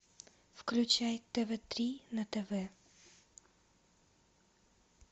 включай тв три на тв